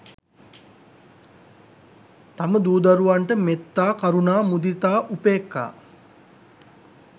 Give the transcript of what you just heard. තම දූ දරුවන්ට මෙත්තා, කරුණා, මුදිතා, උපේක්ඛා